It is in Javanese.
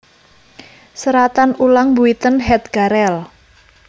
Seratan ulang Buiten het gareel